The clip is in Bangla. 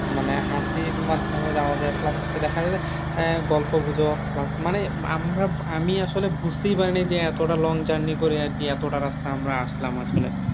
মানে হাসির মাধ্যমে যাওয়া যায় plus হচ্ছে দেখা যায় যে আহ গল্প গুজব plus মানে আমরা আমি আসলে বুঝতেই পারিনি যে এতটা long journey করে আর কি এতটা রাস্তা আমরা আসলাম আসলে